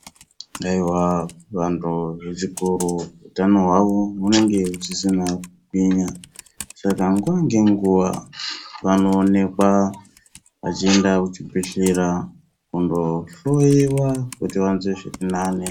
Aiwa vantu vechikoru utano hwavo hunenge husisina kugwinya Saka nguwa ngenguva vanoonekwa vachienda kuchibhedhleya kundohloiwa kuti vanzwe zvirinane .